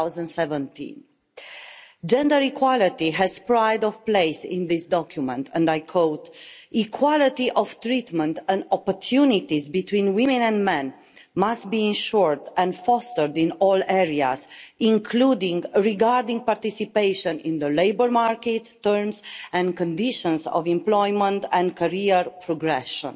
2017. Gender equality has pride of place in this document, and I quote equality of treatment and opportunities between women and men must be ensured and fostered in all areas, including regarding participation in the labour market, terms and conditions of employment and career progression.